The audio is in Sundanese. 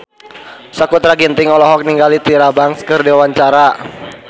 Sakutra Ginting olohok ningali Tyra Banks keur diwawancara